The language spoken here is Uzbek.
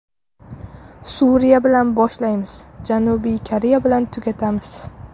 Suriya bilan boshlaymiz, Janubiy Koreya bilan tugatamiz.